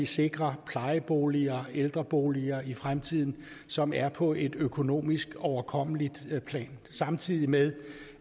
sikre plejeboliger ældreboliger i fremtiden som er på et økonomisk overkommeligt plan samtidig med